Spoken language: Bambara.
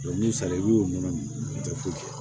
n'u sara i b'o nɔnɔ min u tɛ foyi kɛ